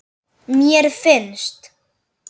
Mér finnst.